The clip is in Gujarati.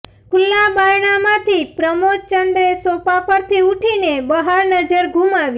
ખુલ્લા બારણામાંથી પ્રમોદચંદ્રે સોફા પરથી ઊઠીને બહાર નજર ઘુમાવી